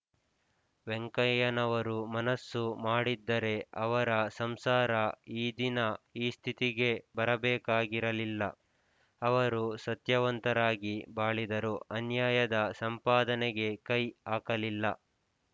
ವೆಂಕಯ್ಯನವರು ಮನಸ್ಸು ಮಾಡಿದ್ದರೆ ಅವರ ಸಂಸಾರ ಈ ದಿನ ಈ ಸ್ಥಿತಿಗೆ ಬರಬೇಕಾಗಿರಲಿಲ್ಲ ಅವರು ಸತ್ಯವಂತರಾಗಿ ಬಾಳಿದರು ಅನ್ಯಾಯದ ಸಂಪಾದನೆಗೆ ಕೈ ಹಾಕಲಿಲ್ಲ